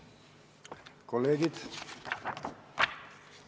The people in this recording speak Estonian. Kolleegid!